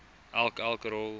elk elk rol